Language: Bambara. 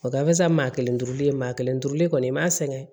O gafe san maa kelen turuli maa kelen turuli kɔni i m'a sɛgɛn